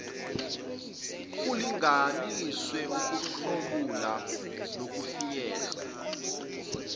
kulinganiswe ukuhlomula nokufinyelela